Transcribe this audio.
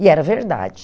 E era verdade.